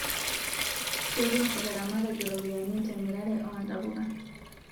Ketum ilaramatak iropiani temirare oo ntapuka